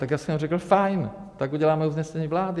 Tak já jsem řekl: fajn, tak uděláme usnesení vlády.